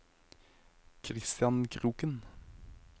Kristian Kroken